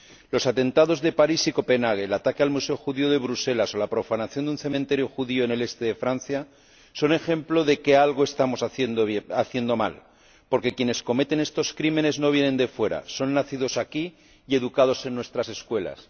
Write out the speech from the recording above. Los atentados de París y Copenhague, el ataque al museo judío de Bruselas, o la profanación de un cementerio judío en el este de Francia, son ejemplo de que algo estamos haciendo mal, porque quienes cometen estos crímenes no vienen de fuera, son nacidos aquí y han sido educados en nuestras escuelas.